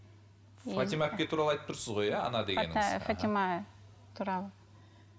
фатима әпке туралы айтып тұрсыз ғой иә она фатима туралы